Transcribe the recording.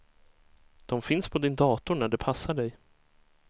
De finns på din dator när det passar dig.